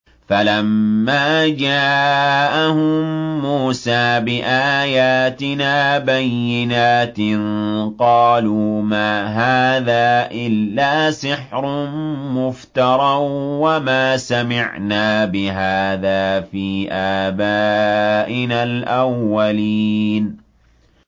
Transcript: فَلَمَّا جَاءَهُم مُّوسَىٰ بِآيَاتِنَا بَيِّنَاتٍ قَالُوا مَا هَٰذَا إِلَّا سِحْرٌ مُّفْتَرًى وَمَا سَمِعْنَا بِهَٰذَا فِي آبَائِنَا الْأَوَّلِينَ